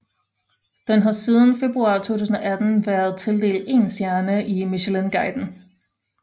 Den har siden februar 2018 været tildelt én stjerne i Michelinguiden